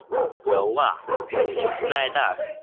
Glóa, mun rigna í dag?